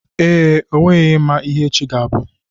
Ee, onweghị onye ma ihe echi ga abụ